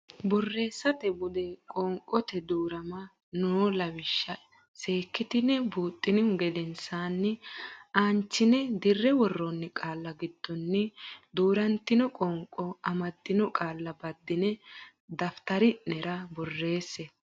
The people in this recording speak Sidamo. Borreessate Bude Qoonqote Duu rama noo lawishsha seekkitine buuxxinihu gedensaanni aanchine dirre worroonni qaalla giddonni duu rantino qoonqo amaddino qaalla baddine daftrari nera borreesse.